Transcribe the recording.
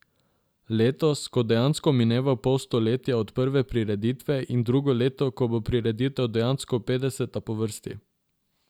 Letos, ko dejansko mineva pol stoletja od prve prireditve, in drugo leto, ko bo prireditev dejansko petdeseta po vrsti.